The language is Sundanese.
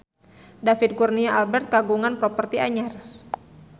David Kurnia Albert kagungan properti anyar